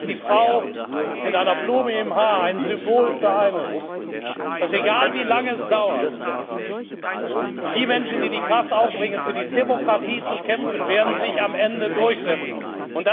Sie sind als die Frau mit einer Blume im Haar ein Symbol für eines Dass, egal wie lange es dauert, die Menschen, die die Kraft aufbringen, für die Demokratie zu kämpfen, sich am Ende durchsetzen werden.